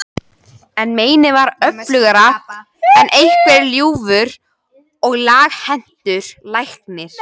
En meinið var öflugra en einhver ljúfur og laghentur læknir.